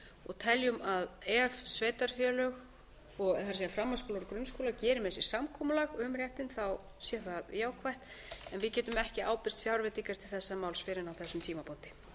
og teljum að ef sveitarfélög það er framhaldsskólar og grunnskólar geri með sér samkomulag um réttinn sé það jákvætt en við getum ekki ábyrgst fjárveitingar til þessa máls fyrr en á þessum tímapunkti